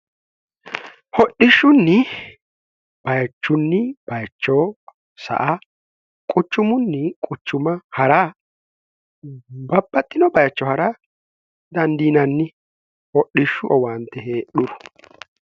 hodhishshunni bayichunni bayichoo sa a quchumunni quchuma ha'ra babbaxxino bayicho ha'ra dandiinanni hodhishshu owaanti heedhuru